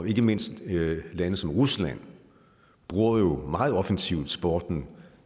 ikke mindst lande som rusland bruger jo meget offensivt sporten